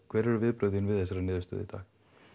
hver eru viðbrögð þín við þessari niðurstöðu í dag